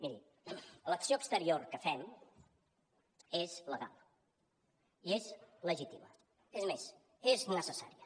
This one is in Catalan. mirin l’acció exterior que fem és legal i és legítima és més és necessària